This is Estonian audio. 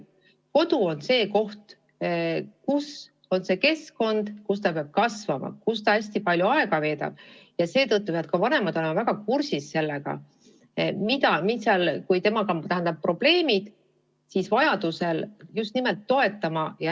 Kodu on see koht, see keskkond, kus ta peab kasvama, kus ta veedab hästi palju aega, ja seetõttu peavad vanemad olema väga hästi kursis tema probleemidega, et teda vajaduse korral toetada.